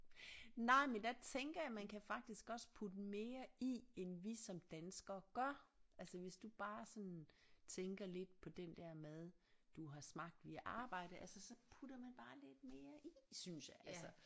Nej men der tænker jeg man kan faktisk også putte mere i end vi som danskere gør altså hvis du bare sådan tænker lidt på den der mad du har smagt via arbejde altså så putter man bare lidt mere i synes jeg altså